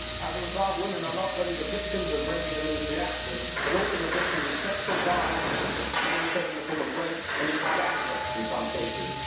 As a result, women are not only the victims of regular military action but also the victims of sexual violence, mainly taking the form of rapes and even gang rapes in some cases.